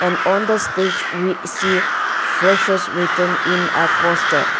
on the stage we see freshers written in a poster.